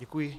Děkuji.